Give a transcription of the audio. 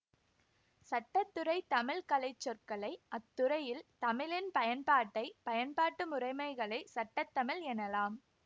சட்டத்துறைத் தமிழ் கலைச்சொற்களை அத்துறையில் தமிழின் பயன்பாட்டை பயன்பாட்டு முறைமைகளை சட்ட தமிழ் எனலாம்